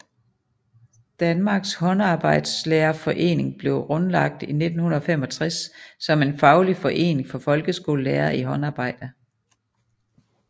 Danmarks Håndarbejdslærerforening blev grundlagt i 1965 som en faglig forening for folkeskolelærere i håndarbejde